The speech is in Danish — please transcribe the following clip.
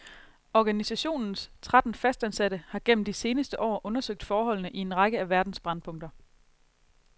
Organisationens tretten fastansatte har gennem de seneste år undersøgt forholdene i en række af verdens brændpunkter.